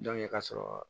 ka sɔrɔ